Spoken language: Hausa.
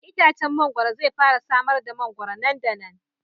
Itacen mangwaro zai fara samar da mangwaro nan da nan.